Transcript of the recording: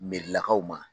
Merilakaw ma